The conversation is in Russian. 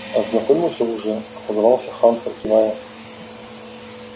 ознакомился уже отозвался хантер кивая